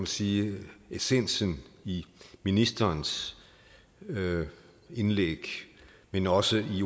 sige essensen i ministerens indlæg men også i